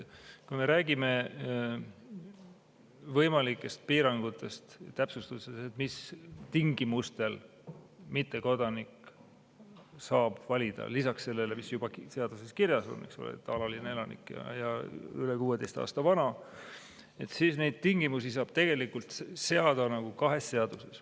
Kui me räägime võimalikest piirangutest, täpsustustest, mis tingimustel mittekodanik saab valida – lisaks sellele, mis juba seaduses kirjas on, eks ole, et alaline elanik ja üle 16 aasta vana –, siis neid tingimusi saab tegelikult seada kahes seaduses.